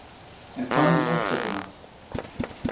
En hvað með móttökuna?